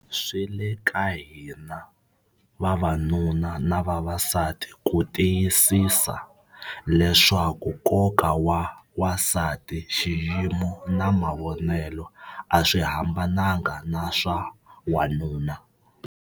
Swi le ka hina - vavanuna na vavasati - ku tiyisisa leswaku nkoka wa wansati, xiyimo na mavonelo a swi hambananga na swa wanuna.